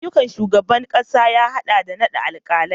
Ayyukan shugaban kasa ya hada da naɗa alkalai